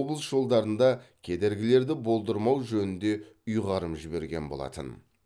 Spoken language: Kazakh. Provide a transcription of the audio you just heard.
облыс жолдарында кедергілерді болдырмау жөнінде ұйғарым жіберген болатын